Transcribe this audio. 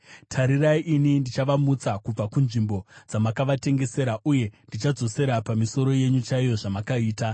“Tarirai, ini ndichavamutsa kubva kunzvimbo dzamakavatengesera, uye ndichadzosera pamisoro yenyu chaiyo zvamakaita.